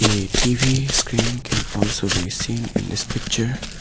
A T_V screen can also be seen in this picture.